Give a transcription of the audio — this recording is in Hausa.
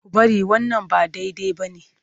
Ku bari wannan ba daidai ba ne!